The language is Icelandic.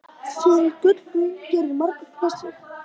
Fyrir gullguðum gerir margur knésig.